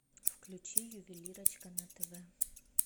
включи ювелирочка на тв